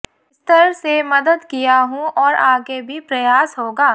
स्तर से मदद किया हूं और आगे भी प्रयास होगा